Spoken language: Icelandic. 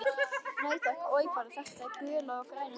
Nei, takk, oj bara, þetta gula og græna sull.